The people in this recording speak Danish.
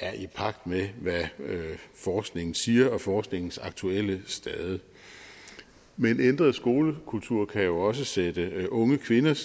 er i pagt med hvad forskningen siger og forskningens aktuelle stade men ændret skolekultur kan jo også sætte unge kvinders